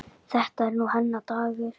Þetta er nú hennar dagur.